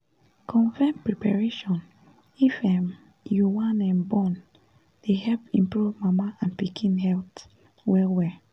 confirm preparation if um you wan um born dey help improve mama and pikin health well well